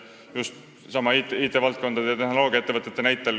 Toon sellesama IT-valdkonna ja tehnoloogiaettevõtete näite.